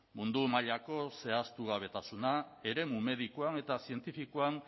mundu mailako zehaztugabetasuna eremu medikoan eta zientifikoan